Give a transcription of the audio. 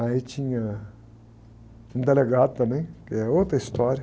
Aí tinha um delegado também, que é outra história.